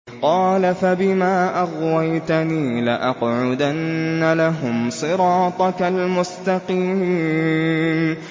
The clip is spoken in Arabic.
قَالَ فَبِمَا أَغْوَيْتَنِي لَأَقْعُدَنَّ لَهُمْ صِرَاطَكَ الْمُسْتَقِيمَ